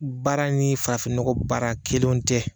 Baara ni fafinnɔgɔ baara kelenw tɛ.